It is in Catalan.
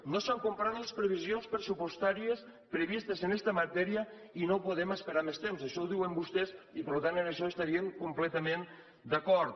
no s’han complert les previsions pressupostàries previstes en esta matèria i no podem esperar més temps això ho diuen vostès i per tant amb això estaríem completament d’acord